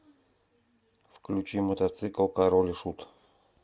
включи мотоцикл король и шут